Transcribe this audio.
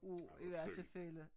Ej hvor synd